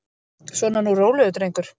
Svona nú, rólegur drengur.